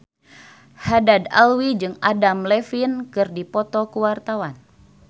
Haddad Alwi jeung Adam Levine keur dipoto ku wartawan